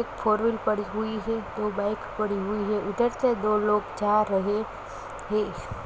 एक फोरवील पड़ी हुई है दो बाइक पड़ी हुई है इधर से दो लोग जा रहे है।